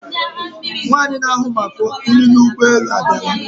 Nwaanyi na-ahụ maka nri n'ụgbọ elu a bịala.